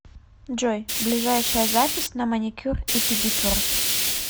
джой ближайшая запись на маникюр и педикюр